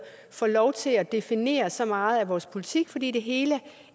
får lov til at definere så meget af vores politik fordi det hele